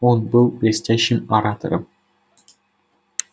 он был блестящим оратором